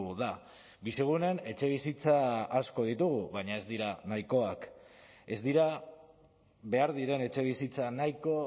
da bizigunen etxebizitza asko ditugu baina ez dira nahikoak ez dira behar diren etxebizitza nahiko